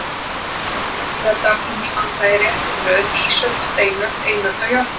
Í sögubókinni héldu áfram að standa í réttri röð ísöld, steinöld, eiröld og járnöld.